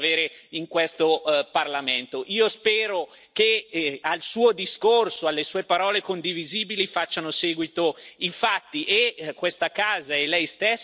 Io spero che al Suo discorso e alle Sue parole condivisibili facciano seguito i fatti e questa Assemblea e Lei stesso ne avrà l'occasione tra pochi minuti.